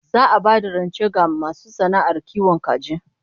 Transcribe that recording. Za'a bayar da rance ga masu sana'ar kiwon kaji